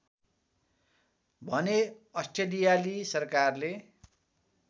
भने अस्ट्रेलियाली सरकारले